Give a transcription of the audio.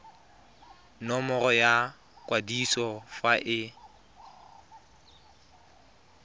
nomoro ya kwadiso fa e